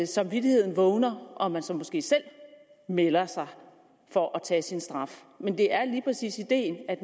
samvittigheden vågner og man så måske selv melder sig for at tage sin straf men det er lige præcis ideen at